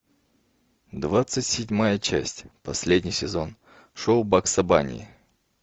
двадцать седьмая часть последний сезон шоу бакса банни